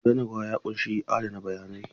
Gudanarwa ya ƙunshi adana bayanai.